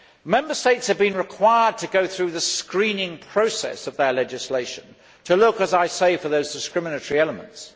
Member States have been required to go through the screening process of their legislation to look, as I say, for those discriminatory elements.